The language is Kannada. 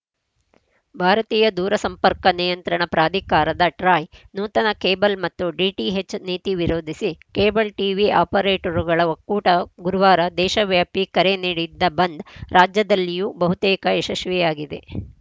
ಭಾರತೀಯ ದೂರಸಂಪರ್ಕ ನಿಯಂತ್ರಣ ಪ್ರಾಧಿಕಾರದಟ್ರಾಯ್‌ ನೂತನ ಕೇಬಲ್‌ ಮತ್ತು ಡಿಟಿಎಚ್‌ ನೀತಿ ವಿರೋಧಿಸಿ ಕೇಬಲ್‌ ಟೀವಿ ಆಪರೇಟರ್‌ಗಳ ಒಕ್ಕೂಟ ಗುರುವಾರ ದೇಶವ್ಯಾಪಿ ಕರೆ ನೀಡಿದ್ದ ಬಂದ್‌ ರಾಜ್ಯದಲ್ಲಿಯೂ ಬಹುತೇಕ ಯಶಶ್ವಿಯಾಗಿದೆ